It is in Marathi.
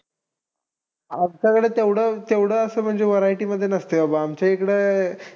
आमच्याकडे तेवढं-तेवढं असं म्हणजे variety मध्ये नसते बाबा. आमच्या इकडे